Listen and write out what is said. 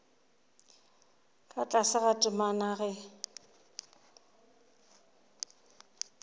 ka tlase ga temana ge